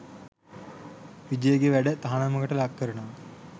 විජේගේ වැඩ තහනමකට ලක්කරනවා.